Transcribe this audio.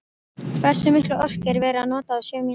Hversu mikla orku er verið að nota á sjö mínútum?